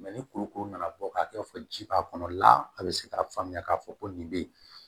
ni kurukuru nana bɔ ka kɛ fɔ ji b'a kɔnɔ la a bɛ se k'a faamuya k'a fɔ ko nin bɛ yen